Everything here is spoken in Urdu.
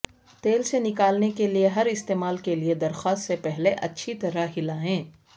تیل سے نکالنے کے لئے ہر استعمال کے لئے درخواست سے پہلے اچھی طرح ہلایں